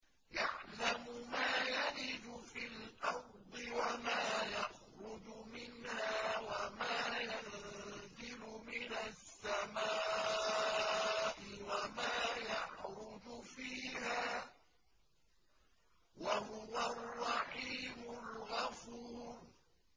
يَعْلَمُ مَا يَلِجُ فِي الْأَرْضِ وَمَا يَخْرُجُ مِنْهَا وَمَا يَنزِلُ مِنَ السَّمَاءِ وَمَا يَعْرُجُ فِيهَا ۚ وَهُوَ الرَّحِيمُ الْغَفُورُ